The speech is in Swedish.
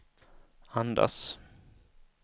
andas